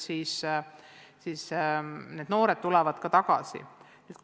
Küll need noored ka siis tagasi tulevad.